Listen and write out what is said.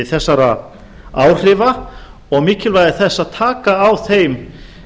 þessara áhrifa og mikilvægi þess að taka á þeim